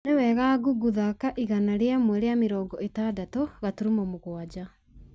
nĩ wega google thaaka igana rĩmwe rĩa mĩrongo ĩtandatũ gaturumo mũgwanja